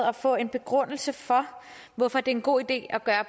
at få en begrundelse for hvorfor det er en god idé at gøre